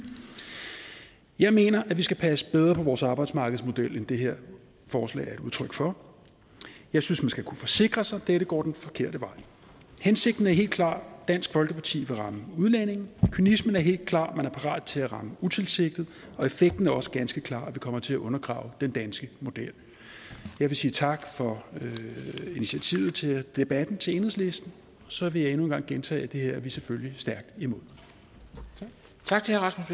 jeg mener at vi skal passe bedre på vores arbejdsmarkedsmodel end det her forslag er et udtryk for jeg synes man skal kunne forsikre sig og dette går den forkerte vej hensigten er helt klar dansk folkeparti vil ramme udlændinge og kynismen er helt klar man er parat til at ramme utilsigtet og effekten er også ganske klar vi kommer til at undergrave den danske model jeg vil sige tak for initiativet til debatten til enhedslisten og så vil jeg endnu en gang gentage at det her er vi selvfølgelig stærkt imod tak